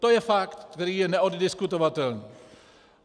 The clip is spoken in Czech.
To je fakt, který je neoddiskutovatelný.